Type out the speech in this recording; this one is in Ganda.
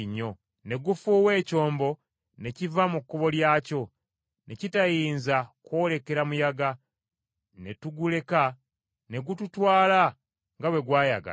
Ne gufuuwa ekyombo ne kiva mu kkubo lyakyo, ne kitayinza kwolekera muyaga, ne tuguleka ne gututwala nga bwe gwayagala.